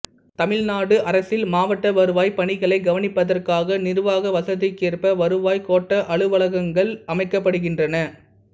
தமிழ்நாடு அரசில் மாவட்ட வருவாய்ப் பணிகளைக் கவனிப்பதற்காக நிர்வாக வசதிக்கேற்ப வருவாய்க் கோட்ட அலுவலகங்கள் அமைக்கப்படுகின்றன